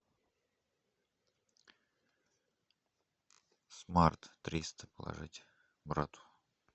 смарт триста положите брату